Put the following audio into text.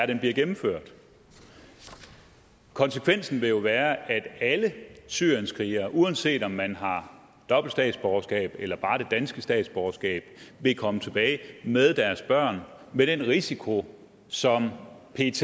den bliver gennemført konsekvensen vil jo være at alle syrienskrigere uanset om man har dobbelt statsborgerskab eller bare det danske statsborgerskab vil komme tilbage med deres børn med den risiko som pet